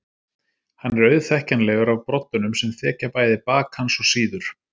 Hann er auðþekkjanlegur af broddunum sem þekja bæði bak hans og síður.